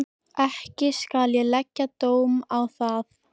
Hann getur hugsað sér að bera örin alla ævi.